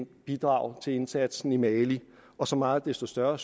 bidrag til indsatsen i mali og så meget desto større